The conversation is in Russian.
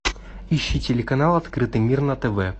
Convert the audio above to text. ищи телеканал открытый мир на тв